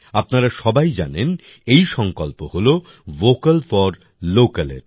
আপনারা সবাই জানেন এই সংকল্প হলো ভোকাল ফোর লোকাল এর